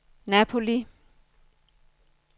Napoli